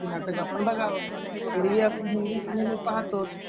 तर म्हणल आपण मराठी नाटक बघाव, ऐरवी आपण हिन्दी सिनेमे पहातोच